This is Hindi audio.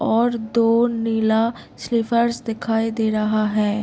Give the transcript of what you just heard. और दो नीला स्लीपर्स दिखाई दे रहा है।